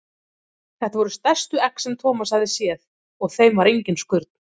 Þetta voru stærstu egg sem Thomas hafði séð og á þeim var engin skurn.